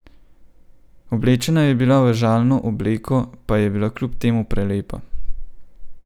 Oblečena je bila v žalno obleko, pa je bila kljub temu prelepa.